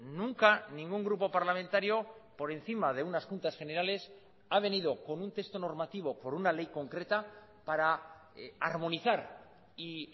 nunca ningún grupo parlamentario por encima de unas juntas generales ha venido con un texto normativo por una ley concreta para armonizar y